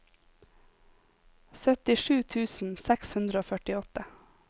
syttisju tusen seks hundre og førtiåtte